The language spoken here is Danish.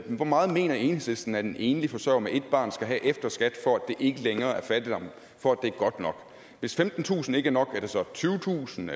hvor meget mener enhedslisten at en enlig forsørger med et barn skal have efter skat for at det ikke længere er fattigdom hvis femtentusind kroner ikke er nok er det så tyvetusind